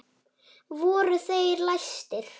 Voru þeir læstir.